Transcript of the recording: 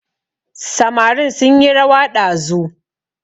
Samarin sunyi rawa ɗazu